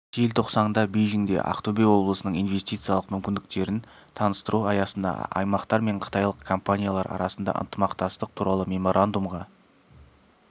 желтоқсанда бейжіңде ақтөбе облысының инвестициялық мүмкіндіктерін таныстыру аясында аймақтар және қытайлық компаниялар арасында ынтымақтастық туралы меморандумға